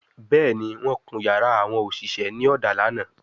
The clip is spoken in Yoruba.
Bẹẹni, wọn kun yara awon oṣiṣẹ ni oda lana